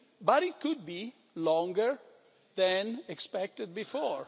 but it could be longer than was expected before.